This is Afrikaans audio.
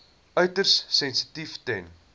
uiters sensitief ten